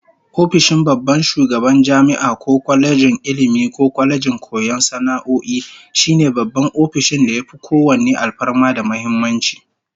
Ofishin babban shugaban jami'a ko kwalejin Ilmi ko kwalejin koyon sana'o'i, shine babban ofishin da yafi kowanne alfarma da muhimmanci